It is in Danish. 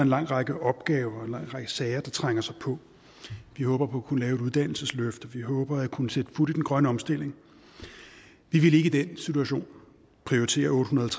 lang række opgaver en lang række sager der trænger sig på vi håber på at kunne lave et uddannelsesløft og vi håber at kunne sætte fut i den grønne omstilling vi vil ikke i den situation prioritere otte hundrede og